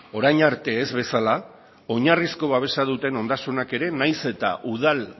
orain arte ez bezala oinarrizko babesa duten ondasunak ere nahiz eta udal